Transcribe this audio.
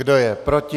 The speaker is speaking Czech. Kdo je proti?